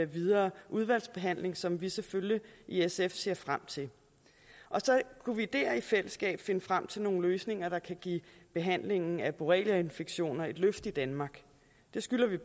videre udvalgsbehandling som vi selvfølgelig i sf ser frem til så kunne vi der i fællesskab finde frem til nogle løsninger der kan give behandlingen af borreliainfektioner et løft i danmark det skylder vi